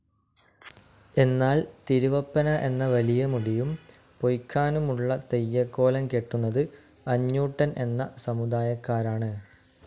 എന്നാൽ തിരുവപ്പന എന്ന വലിയ മുടിയും പൊയ്‌ക്കാനുമുള്ള തെയ്യക്കോലം കെട്ടുന്നത് അഞ്ഞൂട്ടൻ എന്ന സമുദായക്കാരാണ്.